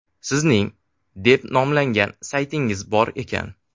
Sizning deb nomlangan saytingiz bor ekan.